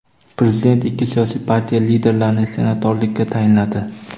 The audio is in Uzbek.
Prezident ikki siyosiy partiya liderlarini senatorlikka tayinladi.